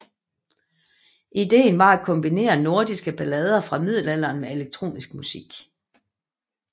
Ideen var at kombinere nordiske ballader fra middelalderen med elektronisk musik